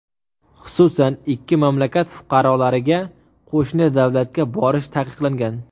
Xususan, ikki mamlakat fuqarolariga qo‘shni davlatga borish taqiqlangan.